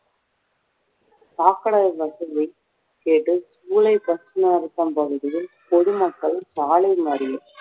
சாக்கடை வசதியை கேட்டு bus நிறுத்தம் பகுதியில் பொதுமக்கள் சாலை மறியல்